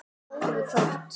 Það var komið kvöld.